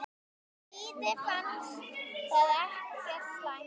Víði fannst það ekkert slæmt.